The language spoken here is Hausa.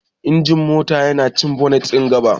Injin mota yana cikin boot ɗin gaba.